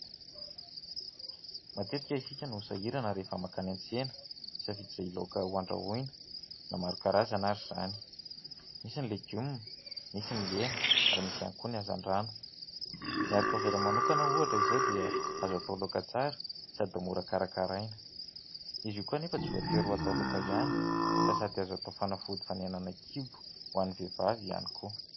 Matetika isika no sahirana rehefa mankany an-tsena misafidy izay laoka ho andrahoina na maro karazana ary izany, misy ny legioma, misy ny hena ary misy ihany koa ny hazan-drano. Ny arikaovera manokana ohatra izao dia azo atao laoka tsara sady mora karakaraina, izy io koa anefa tsy voatery ho atao laoka ihany fa sady azo atao fanafody fanenana kibo ho an'ny vehivavy ihany koa.